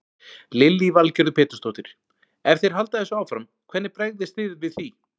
Lillý Valgerður Pétursdóttir: Ef þeir halda þessu áfram, hvernig bregðist þið við því?